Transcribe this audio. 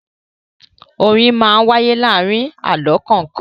Orin máa ń wáyé láàárin àlọ́ kọ̀ọ̀kan.